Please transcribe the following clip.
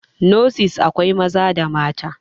nurses akwai Maza da mata